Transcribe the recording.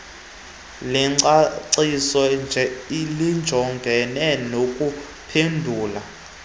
lengcaciso lijongene nokuphendula